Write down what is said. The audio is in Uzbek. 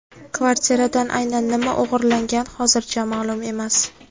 Kvartiradan aynan nima o‘g‘irlangan hozircha ma’lum emas.